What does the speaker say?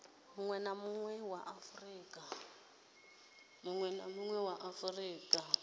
munwe na munwe wa afurika